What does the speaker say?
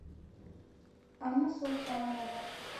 анна султанова